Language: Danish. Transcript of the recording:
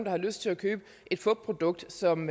har lyst til at købe et fupprodukt som